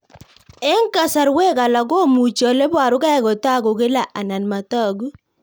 Eng'kasarwek alak komuchi ole parukei kotag'u kila anan matag'u